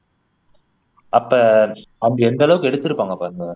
அப்போ அவங்க எந்த அளவுக்கு எடுத்துருப்பாங்க பாருங்க